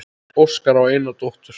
Óskar á eina dóttur.